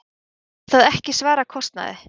Reyndist það ekki svara kostnaði.